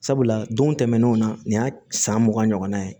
Sabula don tɛmɛnenw na nin y'a san mugan ɲɔgɔnna ye